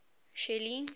shelly